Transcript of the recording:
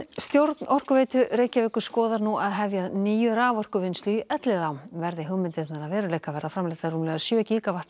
stjórn Orkuveitu Reykjavíkur skoðar nú að hefja að nýju raforkuvinnslu í Elliðaám verði hugmyndirnar að veruleika verða framleiddar rúmlega sjö